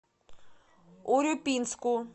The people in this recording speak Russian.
урюпинску